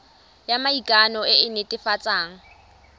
ya maikano e e netefatsang